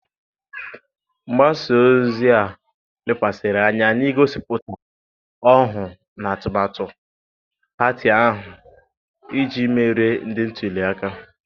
Mgbasa ozi a lekwasịrị anya n'igosipụta ọhụụ na atumatu pati ahụ iji merie ndị ntuli aka.